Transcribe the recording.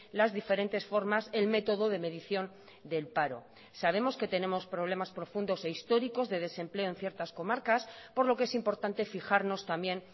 las diferentes formas el método de medición del paro sabemos que tenemos problemas profundos e históricos de desempleo en ciertas comarcas por lo que es importante fijarnos también